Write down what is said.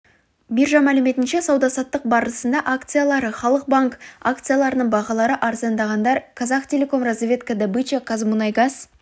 биржа мәліметінше сауда-саттық барысында акциялары халық банк акцияларының бағалары арзандағандар казахтелеком разведка добыча казмунайгаз